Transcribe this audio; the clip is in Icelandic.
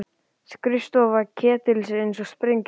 Skrifstofa Ketils eins og eftir sprengjuárás!